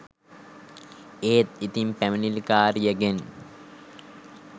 ඒත් ඉතින් පැමිණිලිකාරියගෙන්